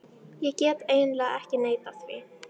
Ég get eiginlega ekki neitað því.